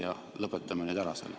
Ja lõpetame nüüd ära selle.